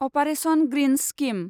operation greens scheme